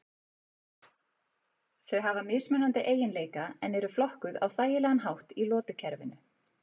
Þau hafa mismunandi eiginleika en eru flokkuð á þægilegan hátt í lotukerfinu.